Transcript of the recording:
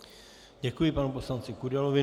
Děkuji panu poslanci Kudelovi.